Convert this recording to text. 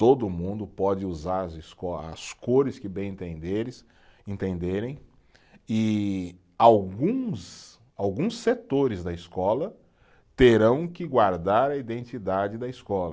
Todo mundo pode usar as esco, as cores que bem entenderes, entenderem e alguns, alguns setores da escola terão que guardar a identidade da escola.